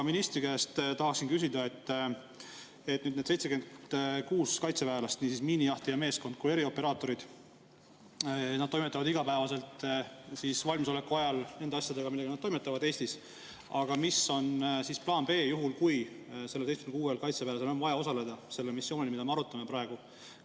Ministri käest tahaksin küsida, et need 76 kaitseväelast, nii miinijahtija meeskond kui erioperaatorid, toimetavad igapäevaselt valmisoleku ajal nende asjadega, millega nad toimetavad Eestis, aga mis on plaan B juhuks, kui neil 76 kaitseväelasel on vaja osaleda sellel missioonil, mida me arutame praegu?